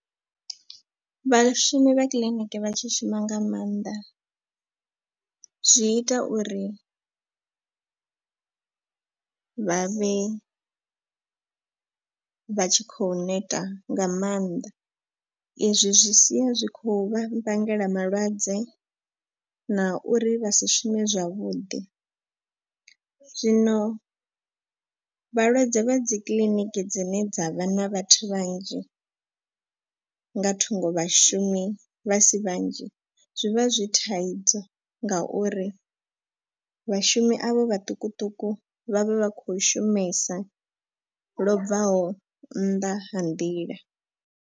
Vhashumi vha kiḽiniki vha tshi shuma nga maanḓa zwi ita uri vha vhe vha tshi khou neta nga maanḓa. I zwi zwi sia zwi khou vha vhangela malwadze na uri vha si shume zwavhuḓi. Zwino vhalwadze vha dzi kiḽiniki dzine dza vha na vhathu vhanzhi nga thungo vhashumi vha si vhanzhi zwi vha zwi thaidzo. Ngauri vhashumi avho vhaṱukuṱuku vhavha vha kho shumesa lobvaho nnḓa ha nḓila.